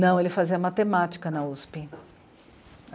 Não, ele fazia matemática na u esse pê.